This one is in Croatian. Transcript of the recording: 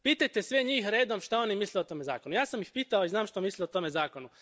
Pitajte sve njih redom što oni misle o tom zakonu. Ja sam i pitao i znam što misle o tome zakonu.